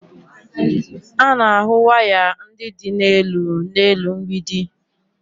A na-ahụ waya ndị dị n'elu n'elu mgbidi